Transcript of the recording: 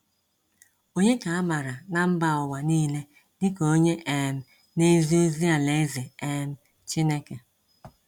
Onye ka a mara na mba ụwa niile dịka onye um na ezi ozi alaeze um Chineke?